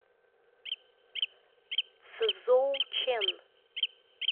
цзоучэн